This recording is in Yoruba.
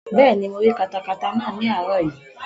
Bẹ́ẹ̀ni, mo rí katakata náà ní àárọ̀ yìí